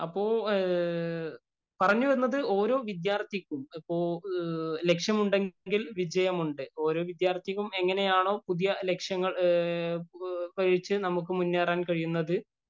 അപ്പൊപറഞ്ഞുവന്നത് ഓരോ വിദ്യാര്‍ത്ഥിക്കും, അപ്പൊ ലക്ഷ്യമുണ്ടെങ്കില്‍ വിജയം ഉണ്ട്. ഓരോ വിദ്യാര്‍ത്ഥിക്കും എങ്ങനെയാണോ പുതിയ ലക്ഷ്യങ്ങള്‍നമുക്ക് മുന്നേറാന്‍ കഴിയുന്നത്